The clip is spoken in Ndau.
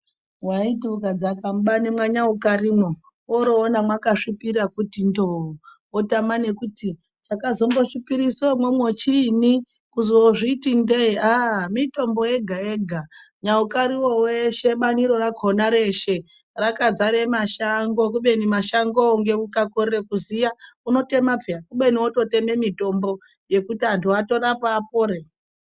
Waiti ukadzaka mubani mwanyaukarimwo oroona mwakazvipira kutindo wotama nekuti chakazombosvipirise umwomwo chiini kuzozviti ndege aaaa mitombo yega yega, Nyaukariwo weshe bani rakona reshe rakadzare mashango kubeni mashangowo ukakorera kuziya unototema peya kubeni wototema mitombo yekuti antu atorapwa apore.